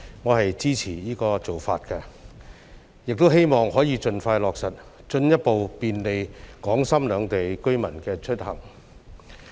我支持"一地兩檢"這做法，亦希望它可以盡快落實，進一步便利港深兩地居民的出行。